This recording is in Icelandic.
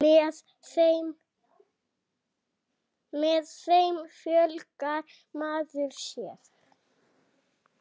Með þeim fjölgar maður sér.